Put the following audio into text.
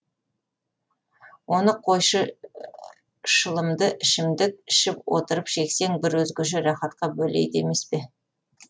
оны қойшы шылымды ішімдік ішіп отырып шексең бір өзгеше рахатқа бөлейді емес пе